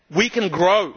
We can grow.